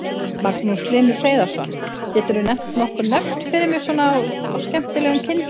Magnús Hlynur Hreiðarsson: Getur þú nefnt nokkur nöfn fyrir mig svona á skemmtilegum kindum?